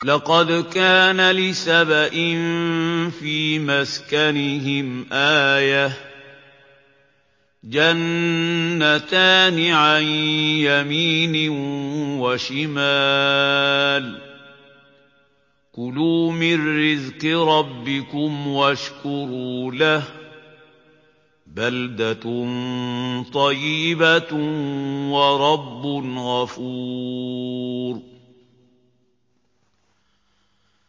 لَقَدْ كَانَ لِسَبَإٍ فِي مَسْكَنِهِمْ آيَةٌ ۖ جَنَّتَانِ عَن يَمِينٍ وَشِمَالٍ ۖ كُلُوا مِن رِّزْقِ رَبِّكُمْ وَاشْكُرُوا لَهُ ۚ بَلْدَةٌ طَيِّبَةٌ وَرَبٌّ غَفُورٌ